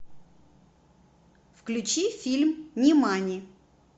включи фильм нимани